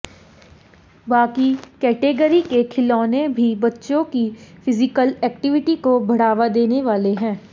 बाकी कैटेगरी के खिलौने भी बच्चों की फिजिकल एक्टिविटी को बढ़ावा देने वाले हैं